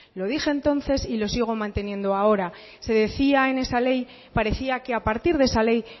lo dije entonces y lo sigo manteniendo ahora se decía en esa ley parecía que a partir de esa ley